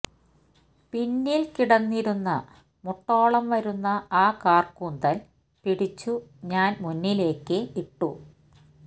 പിന്നിൽ കിടന്നിരുന്ന മുട്ടോളം വരുന്ന ആ കാർകൂന്തൽ പിടിച്ചു ഞാൻ മുന്നിലേക്ക് ഇട്ടു